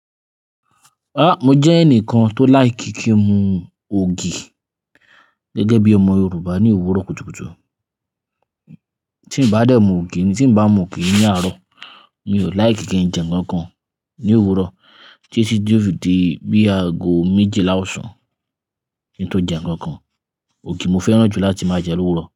Ah! Mo jẹ ẹnìkan tó likr kí n mu ògì gẹ́gẹ́ bí ọmọ Yorùbá ní òwúrọ̀ kùtùkùtù. Tí n bá dé mu ògì, tí n bá mu ògì ní àárọ̀, mi ò láì kí kí n jẹ nnkan kan ní òwúrọ̀ tí ẹ sì dúró di bí aago méjelá àsán kí n tó jẹ nnkan kan. Ògì mo fẹ́ràn jù láti máa jẹ lówúrọ̀